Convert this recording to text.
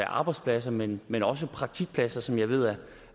arbejdspladser men men også praktikpladser som jeg ved